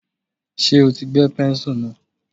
Ṣé o ti gbẹ́ pẹ́ńsù náà.